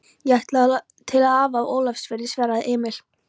Ég ætlaði til afa á Ólafsfirði, svaraði Emil.